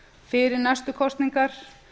fyrir næstu kosningar